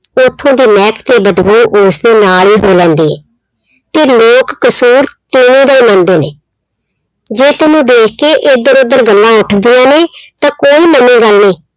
ਉੱਥੋਂ ਦੀ ਮਹਿਕ ਤੇ ਬਦਬੂ ਉਸਦੇ ਨਾਲ ਹੀ ਹੋ ਜਾਂਦੀ ਹੈ, ਤੇ ਲੋਕ ਕਸ਼ੂਰ ਤੀਵੀਂ ਦਾ ਹੀ ਮੰਨਦੇ ਨੇ, ਜੇ ਤੈਨੂੰ ਦੇਖ ਕੇ ਇੱਧਰ ਉੱਧਰ ਗੱਲਾਂ ਉੱਠਦੀਆਂ ਨੇ ਤਾਂ ਕੋਈ ਨਵੀਂ ਗੱਲ ਨੀ